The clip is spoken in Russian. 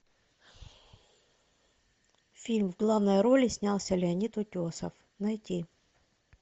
фильм в главной роли снялся леонид утесов найти